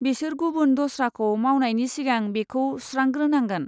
बिसोर गुबुन दस्राखौ मावनायनि सिगां बेखौ सुस्रांग्रोनांगोन।